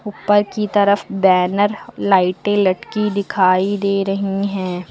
ऊपर की तरफ बैनर लाइटें लटकी दिखाई दे रही हैं।